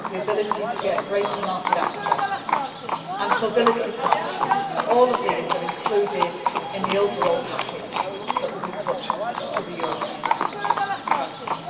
trade openings the ability to get greater market access and mobility partnerships all of these are included in the overall package that will be put to the European